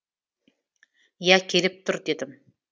иә келіп тұр дедім